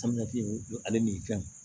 ale ni fɛnw